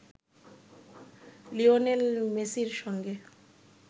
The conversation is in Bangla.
লিওনেল মেসির সঙ্গে